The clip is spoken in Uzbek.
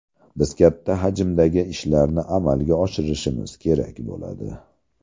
Biz katta hajmdagi ishlarni amalga oshirishimiz kerak bo‘ladi.